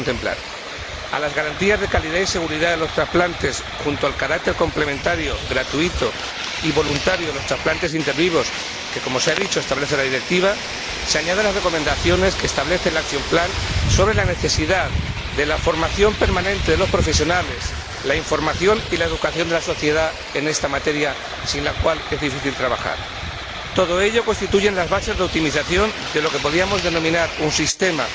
A las garantías de calidad y seguridad en los trasplantes, junto al carácter complementario, gratuito y voluntario de los trasplantes ínter vivos, que, como se ha dicho, establece la Directiva, se añaden las recomendaciones que establece el plan de acción sobre la necesidad de la formación permanente de los profesionales, la información y la educación de la sociedad en esta materia, sin la cual es difícil trabajar. Todo ello constituye las bases de optimización de lo que podríamos denominar un sistema